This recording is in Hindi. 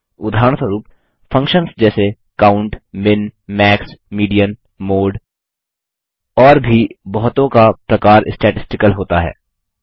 उदाहरणस्वरुप फंक्शन्स जैसे count min max median mode और भी बहुतों का प्रकार स्टैटिस्टिकल होता है